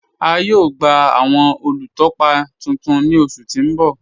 A yóò gba awọn olútọ́pá tuntun ní ọṣù tí n bọ̀.